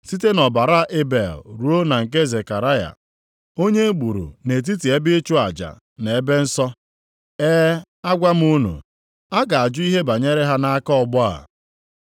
site nʼọbara Ebel ruo na nke Zekaraya, onye e gburu nʼetiti ebe ịchụ aja na ebe nsọ. E, agwa m unu, a ga-ajụ ihe banyere ha nʼaka ọgbọ a.